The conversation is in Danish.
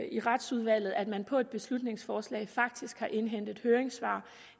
i retsudvalget at man på et beslutningsforslag faktisk har indhentet høringssvar